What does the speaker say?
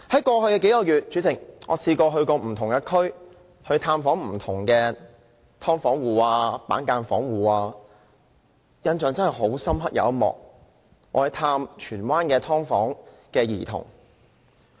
代理主席，在過去數個月，我曾到不同地區探訪不同的"劏房戶"和板間房戶，印象很深刻的一幕是探訪荃灣的"劏房"兒童。